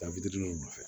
Taa fitininw nɔfɛ